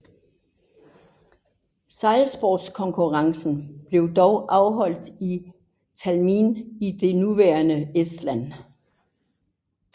Sejlsportskonkurrencerne blev dog afholdt i Tallinn i det nuværende Estland